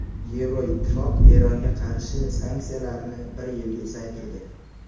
Yevroittifoq Eronga qarshi sanksiyalarni bir yilga uzaytirdi.